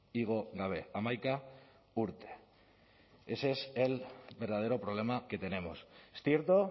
igo gabe hamaika urte ese es el verdadero problema que tenemos es cierto